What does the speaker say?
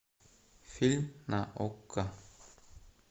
фильм на окко